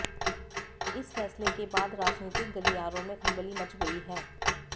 इस फैसले के बाद राजनीतिक गलियारों में खलबली मच गयी हैं